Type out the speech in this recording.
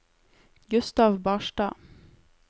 Gustav Barstad